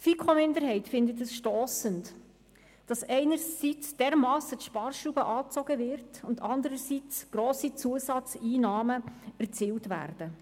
Die FiKo-Minderheit empfindet es als stossend, dass einerseits die Sparschraube dermassen angezogen wird und andererseits grosse Zusatzeinnahmen erzielt werden.